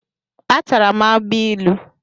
Atara m agbailu.